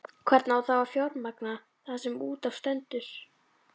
Hvernig á þá að fjármagna það sem út af stendur?